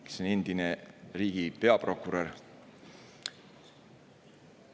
Ta on endine riigi peaprokurör.